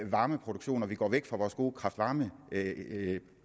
varmeproduktion og vi går væk fra vores gode kraft varme